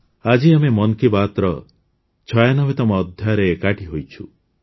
ଆଜି ଆମେ ମନ୍ କି ବାତ୍ର ୯୬ତମ ଅଧ୍ୟାୟରେ ଏକାଠି ହୋଇଛୁ